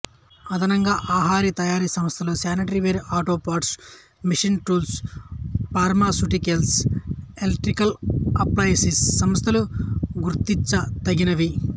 అదనంగా ఆహారతయారీ సస్థలు sanitary ware auto parts machine tools pharmaceuticals electrical appliances సంస్థలు గుర్తించతగినవి